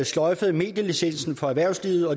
sløjfede medielicensen for erhvervslivet og